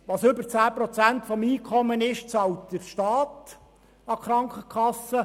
Was über 10 Prozent des Einkommens liegt, bezahlt der Staat an die Krankenkasse.